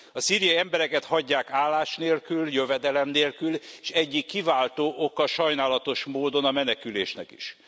A szíriai embereket hagyják állás nélkül, jövedelem nélkül, s egyik kiváltó oka sajnálatos módon a menekülésnek is.